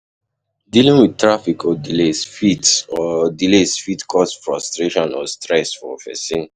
Dealing with traffic or delays fit or delays fit cause frustration or stress for pesin.